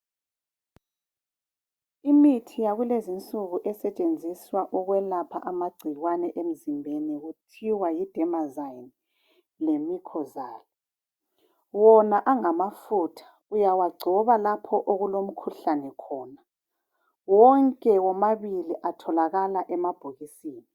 Imithi yakulezinsuku esetshenziswa ukwelapha amagcikwane emizimbeni kuthiwa yi dermazine lemicozal wona angamafutha uyawagcoba lapho okulomkhuhlane khona wonke wamabili atholakala emabhokisini